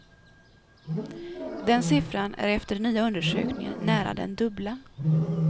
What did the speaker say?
Den siffran är efter den nya undersökningen nära den dubbla.